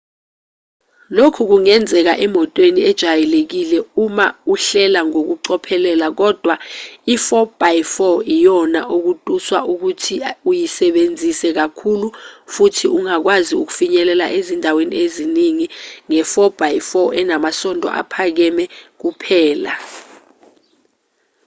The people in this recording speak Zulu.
lokhu kungenzeka emotweni ejwayelekile uma uhlela ngokucophelela kodwa i-4x4 iyona okutuswa ukuthi uyisebenzise kakhulu futhi ungakwazi ukufinyelela ezindaweni eziningi nge-4x4 enamasondo aphakeme kuphela